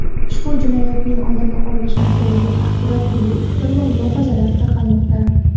ushbu jinoyatning oldi olinishi mumkinligi haqida turli fikr va mulohazalar tarqalmoqda.